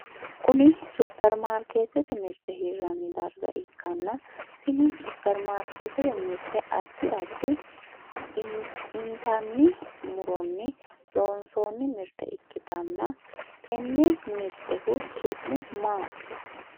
Kunni superimaarikeetete mirte hiranni darga ikkanna tinni superimaarikeetete mirte addi addi intanni muronni loonsooni mirte ikitanna tenne mirtehu su'mu maati?